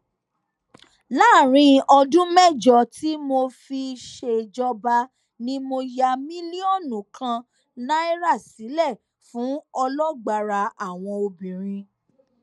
láàrin ọdún mẹjọ tí mo fi ṣèjọba ni mo ya mílíọnù kan náírà sílẹ fún ọlọgbárà àwọn obìnrin